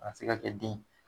A ka se ka kɛ den ye